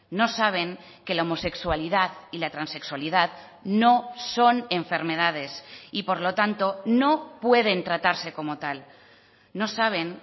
no saben que la homosexualidad y la transexualidad no son enfermedades y por lo tanto no pueden tratarse como tal no saben